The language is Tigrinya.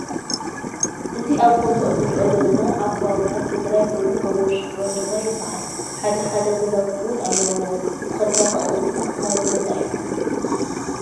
ኣዚ ኣብ ፎቶ እንሪኦ ዘለና ኣብ ክባብታ ትግራይ ኮይኑ ጎቦን ሽንጥሮን ድማ ይብሃል ሓደ ሓደ ገዛዉቲ እዉን ኣለዉኦ ትክልታትን ኣቁፅልቲን ዝተክበበ ቦታ እዩ።